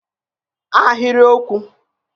Sentence